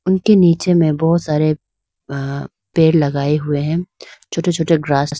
उनके नीचे में बहुत सारे अह पेड़ लगाए हुए हैं छोटे छोटे ग्रास ।